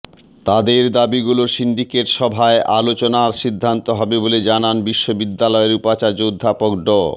তাদের দাবিগুলো সিন্ডিকেট সভার আলোচনায় সিদ্ধান্ত হবে বলে জানান বিশ্ববিদ্যালয়ের উপাচার্য অধ্যাপক ড